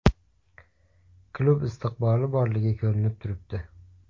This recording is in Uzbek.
Klub istiqboli borligi ko‘rinib turibdi.